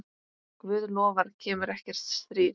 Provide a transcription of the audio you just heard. Guð lofar kemur ekkert stríð.